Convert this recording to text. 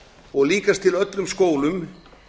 og líkast til í öllum skólum